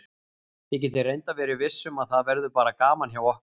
Þið getið reyndar verið viss um að það verður bara gaman hjá okkur.